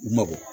U ma bɔ